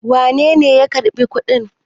wanene ya karɓi kuɗin?